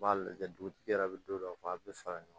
U b'a lajɛ dugutigi yɛrɛ bɛ don dɔ fɔ a bɛ fara ɲɔgɔn kan